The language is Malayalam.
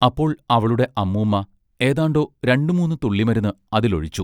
അപ്പോൾ അവളുടെ അമ്മൂമ്മ ഏതാണ്ടൊ രണ്ടു മൂന്നു തുള്ളിമരുന്ന് അതിൽ ഒഴിച്ചു.